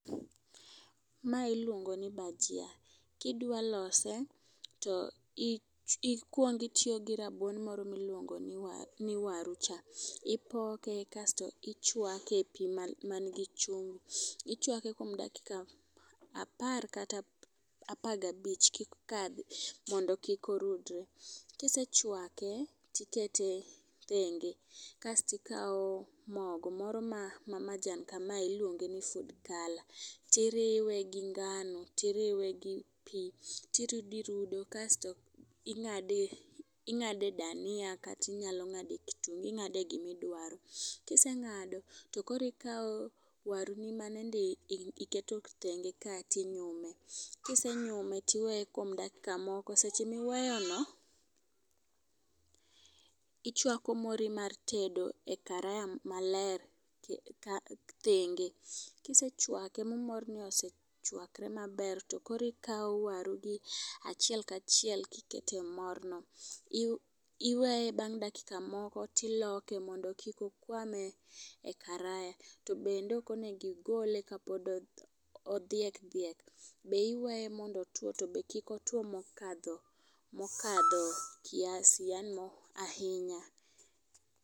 Ma iluongo ni bajia, kidwa lose to i ikwong itiyo gi rabuon moro miluongo ni wa ni waru cha. Ipoke kasto ichwake epii manigi chumbi , ichwake kuom dakika apar kata apa gabich ka kendo kik orudre. Kisechwake tikete thenge kastikawo mogo moro ma majan kamae iluonge ni food color tiriwe gi ngnao tiriwe gi pii turodo irudo kasto ing'ado ing'ade dania katinya ng'ade kitungu, ing'ade gimidwaro. Kiseng'ado to koro ikawo waru manende iketo tenge cha ting'olo ,kisengolo tiwye kuom dakika moko. Seche miweyo no ichwako mori mar tedo e karaya maler ka thenge. Kisechwake ma mori no osechwakre maber to koro ikawo waru gi achiel kachiel kikete morno. Iwe iweye bang' dakika moko tiloke mondo kik okwam e karaya. To bende ok onegi gole ka pod odhiek dhiek, iweye mondo otwo to be kik otuo mokadho kiasi yaani mo ahinya.